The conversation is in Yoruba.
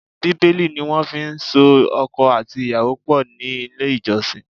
Bíbélì ni wọ́n fi so ọkọ àti ìyàwó pọ̀ ní ilé ìjọsìn.